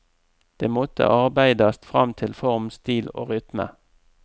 Det måtte arbeidast fram til form, stil og rytme.